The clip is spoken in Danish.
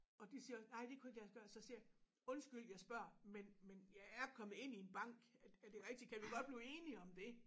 Og de siger også nej det kunne ikke lade sig gøre så siger jeg undskyld jeg spørger men men jeg er kommet ind i en bank er det rigtigt kan vi godt blive enige om det